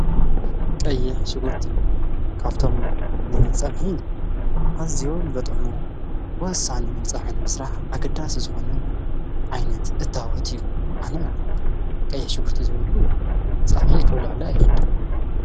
ቀየሕ ሽጉርቲ ካብቶም ን ጸብኂ ኣዚዎምዘጠሙ ወሳኒ ንጻሕኒ ምስራህ ኣገዳስ ዝኾነ ዓይነት እታወት እዩ ኣነ ቀየሕ ሽጕርቲ ዘይበሉ ጸብሒ ኽብልዕሊ ኣይኽድ::